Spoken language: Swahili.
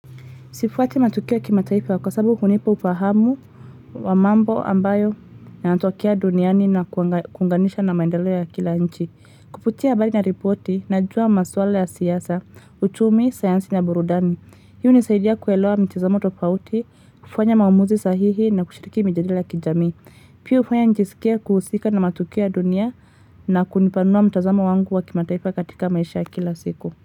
Sifuati matukio kima taifa kwa sababu hunipa ufahamu wa mambo ambayo yanatokea duniani na kuunganisha na maendeleo ya kila nchi. Kupitia habari na ripoti, najua masuala ya siasa, uchumi, sayansi na burudani. Hii unisaidia kuelewa mtazamo tofauti, kufanya maumuzi sahihi na kushiriki mijadala ya kijamii. Pia ufanya njisikie kuhusika na matukio ya dunia na kunipanua mtazamo wangu wa kima taifa katika maisha ya kila siku.